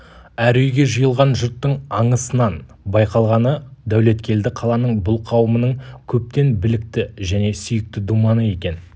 әр үйге жиылған жұрттың аңысынан байқалғаны дәулеткелді қаланың бұл қауымының көптен білікті және сүйікті думаны екен